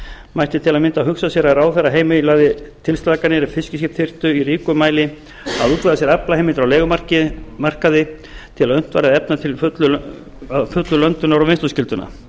mætti til að mynda hugsa sér að ráðherra heimilaði tilslakanir ef fiskiskip þyrftu í ríkum mæli að útvega sér aflaheimildir á leigumarkaði til að unnt væri að efna að fullu löndunar og vinnsluskylduna